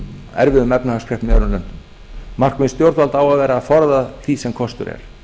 erfiðum efnahagskreppum í öðrum löndum markmið stjórnvalda á að vera að forða því sem kostur er